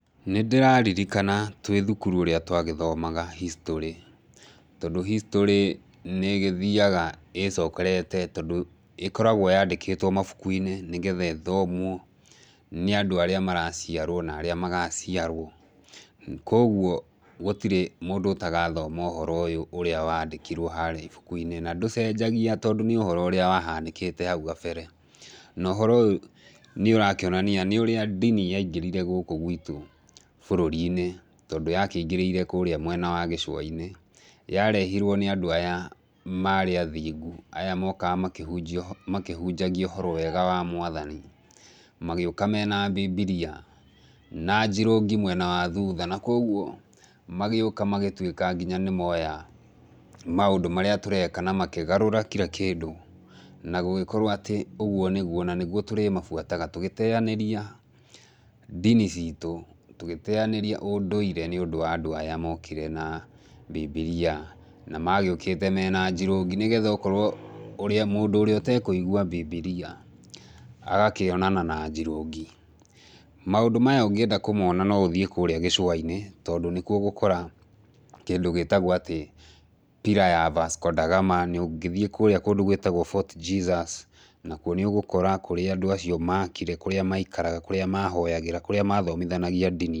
Nĩndĩrarririkana twĩ thukuru ũrĩa twagĩthoaga historĩ, tondũ historĩ nĩ ĩgĩthiaga ĩcokerete, tondũ ĩkoragwo yandĩkĩtwo mũbukuinĩ, nĩgetha ĩthomwo, nĩ andũ arĩa maraciarwo, na arĩa magaciarwo, koguo, gũtirĩ mũndũ ũtagathoma ũhoro ũyũ ũrĩa wandĩkirio haria ibukuinĩ, na ndũcenjagia tondũ nĩ ũhoro ũrĩa wahanĩkĩte harĩa gabere, na ũhoro ũyũ nĩũrakionania nĩ ũrĩa ndini yaingĩrire gũkũ gwitũ, bũrũrinĩ, tondũ yakĩingĩrĩire kũrĩa mwena wa gĩcuainĩ, yarehirwo nĩ andũ aya marĩ athiĩ aya mokaga makĩhunjia makĩhunjagia ũhoro mwega wa mwathani, magĩũka mena mbimbiria, na njirũngi mwena wa thutha, na koguo, magĩũka magĩtuĩka nginya nĩmoya maũndũ marĩa tũreka na makĩgarũra kira kĩndũ, na gũgĩkorwo atĩ ũguo nĩguo na nĩguo tũrĩmabuataga, tũgĩteanĩria ndini citũ, tũgĩteanĩria ũndũire nĩũndũ wa andũ aya makore na mbimbiria, na magĩũkĩte mena njirungi, nĩgetha oorwo ũrĩa mũndũ ũrĩa ũtekũigwa mbimbiria, agakionana na njirũngi, maũndũ maya ũngĩenda kũmona no ũthiĩ kũrĩa gĩcuanĩ, tondũ nĩkuo ũgũkora kĩndũ gĩtagwo atĩ pillar ya Vasco da Gama na ũngĩthiĩ kũrĩa kũndũ gwĩtagwo Fort Jesus nakuo nĩũgũkora kũria andũ acio makire, kũrĩa maikaraga, kũrĩa mahoyagĩra, kũrĩa mathomithagia ndini.